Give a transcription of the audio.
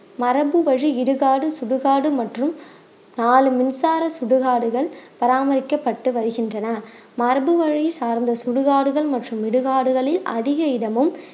மரபு வழி இடுகாடு சுடுகாடு மற்றும் நாலு மின்சார சுடுகாடுகள் பராமரிக்கப்பட்டு வருகின்றன மரபு வழி சார்ந்த சுடுகாடுகள் மற்றும் இடுகாடுகளில் அதிக இடமும்